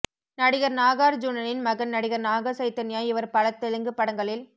நடிகர் நாகார்ஜுனனின் மகன் நடிகர் நாக சைத்தன்யா இவர் பல தெலுங்கு படங்களில்